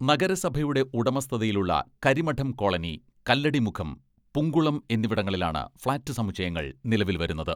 നഗരസഭയുടെ ഉടമസ്ഥതയിലുള്ള കരിമഠം കോളനി, കല്ലടിമുഖം, പുങ്കുളം എന്നിവിടങ്ങളിലാണ് ഫ്ളാറ്റ് സമുച്ചയങ്ങൾ നിലവിൽ വരുന്നത്.